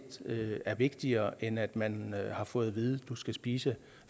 er vigtigere end at man har fået at vide at man skal spise